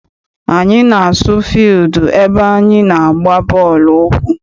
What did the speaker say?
Anyị na-asu fildu ebe anyị na-agba bọọlụ ụkwụ.